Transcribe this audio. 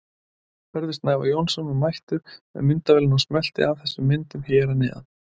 Hörður Snævar Jónsson var mættur með myndavélina og smellti af þessum myndum hér að neðan.